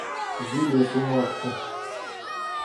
билет у макса